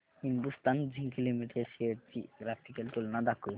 Hindustan zinc limited shares ची graphical तुलना दाखव